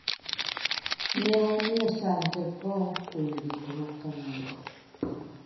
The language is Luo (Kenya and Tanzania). Ne wamiyo san tekoa kuom gik ma kamago.